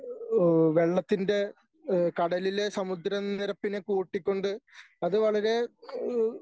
ഏഹ് വെള്ളത്തിൻ്റെ ഏഹ് കടലിലെ സമുദ്രനിരപ്പിനെ കൂട്ടിക്കൊണ്ട് അത് വളരെ ഏഹ്